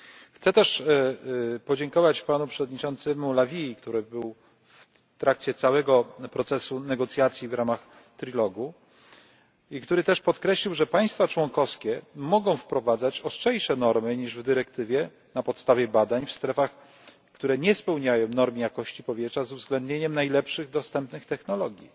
Chcę też podziękować Panu Przewodniczącemu La Vii, który był w trakcie całego procesu negocjacji w ramach trilogu i który też podkreślił, że państwa członkowskie mogą wprowadzać ostrzejsze normy niż w dyrektywie na podstawie badań w strefach, które nie spełniają norm jakości powietrza z uwzględnieniem najlepszych dostępnych technologii.